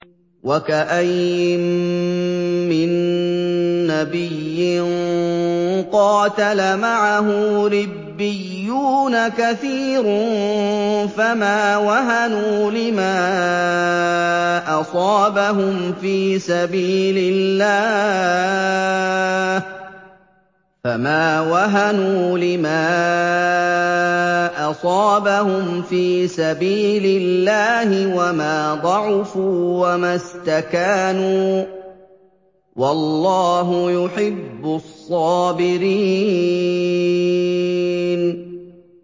وَكَأَيِّن مِّن نَّبِيٍّ قَاتَلَ مَعَهُ رِبِّيُّونَ كَثِيرٌ فَمَا وَهَنُوا لِمَا أَصَابَهُمْ فِي سَبِيلِ اللَّهِ وَمَا ضَعُفُوا وَمَا اسْتَكَانُوا ۗ وَاللَّهُ يُحِبُّ الصَّابِرِينَ